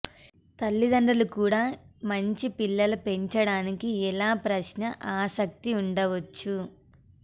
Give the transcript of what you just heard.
తల్లిదండ్రులు కూడా మంచి పిల్లల పెంచడానికి ఎలా ప్రశ్న ఆసక్తి ఉండవచ్చు